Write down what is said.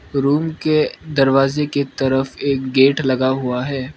Room के दरवाजे की तरफ एक गेट लगा हुआ है।